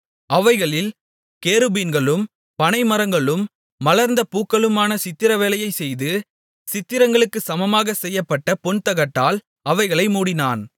அவைகளில் கேருபீன்களும் பனை மரங்களும் மலர்ந்த பூக்களுமான சித்திர வேலையைச் செய்து சித்திரங்களுக்குச் சமமாகச் செய்யப்பட்ட பொன்தகட்டால் அவைகளை மூடினான்